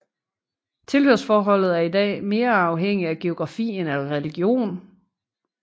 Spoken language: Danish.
Tilhørsforholdet er i dag mere afhængig af geografi end af religion